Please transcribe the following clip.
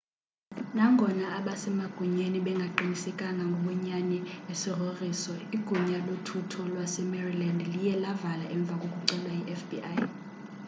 nangona abasemagunyeni bengaqinisekanga ngobunyani besigrogriso igunya lothutho lasemaryland liye lavala emva kokucelwa yifbi